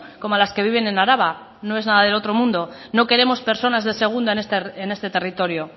como a las que viven en araba no es nada del otro mundo no queremos personas de segunda en este territorio